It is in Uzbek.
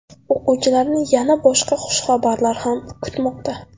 O‘quvchilarni yana boshqa xushxabarlar ham kutmoqda.